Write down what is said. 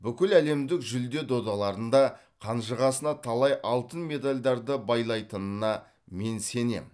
бүкіл әлемдік жүлде додаларында қанжығасына талай алтын медальдарды байлайтынына мен сенем